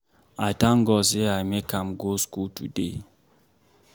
I thank God say I make am go school today